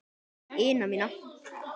ina mína.